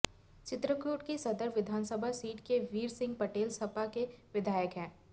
चित्रकूट की सदर विधानसभा सीट से वीर सिंह पटेल सपा के विधायक हैं